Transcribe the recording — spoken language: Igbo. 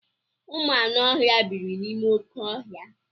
Ụmụ anụ ọhịa biiri n'ime oké ọhịa.